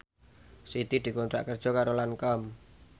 Siti dikontrak kerja karo Lancome